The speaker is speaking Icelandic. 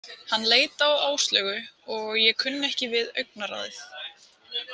Hann leit á Áslaugu og ég kunni ekki við augnaráðið.